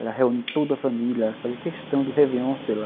Ela reunia toda a família, fazia questão do réveillon, sei lá.